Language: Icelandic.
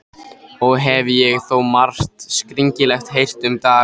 Og hef ég þó margt skringilegt heyrt um dagana.